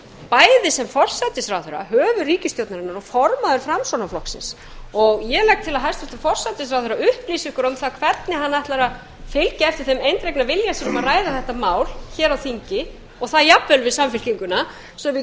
bæði sem forsætisráðherra höfuð ríkisstjórnarinnar og formaður framsóknarflokksins og ég legg til að hæstvirtur forsætisráðherra upplýsi okkur um það hvernig hann ætlar að fylgja eftir þeim eindregna vilja sínum að ræða þetta mál hér á þingi og það jafnvel við samfylkinguna svo við